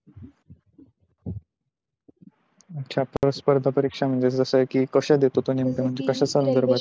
च्या स्पर्धा परीक्षा म्हणजे कशा देत तो नेमका कश्या देतो तो कशा संदर्भातल्या